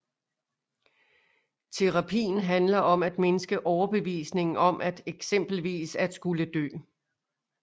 Terapien handler om at mindske overbevisningen om eksempelvis at skulle dø